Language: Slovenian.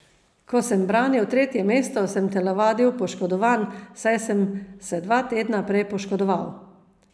Ko sem branil tretje mesto, sem telovadil poškodovan, saj sem se dva tedna prej poškodoval.